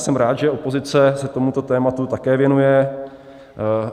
Jsem rád, že opozice se tomuto tématu také věnuje.